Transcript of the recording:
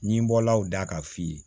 N bɔla o da ka f'i ye